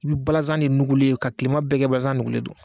I bi balanzan de nugulen ye ka kilema bɛɛ kɛ balanzan nugulen don